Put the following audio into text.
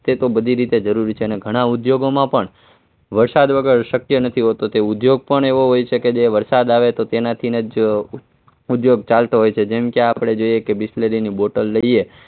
એ બધી રીતે જરૂરી છે અને ઘણા ઉદ્યોગોમાં પણ વરસાદ વગર શક્ય નથી હોતું કે ઉદ્યોગ પણ એવો હોય છે કે જે વરસાદ આવે તો તેનાથી જ ઉદ્યોગ ચાલતો હોય છે જેમકે આપણે જોઈએ તો બીસ્લેરીની બોટલ લઈએ